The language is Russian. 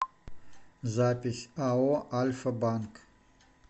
запись ао альфа банк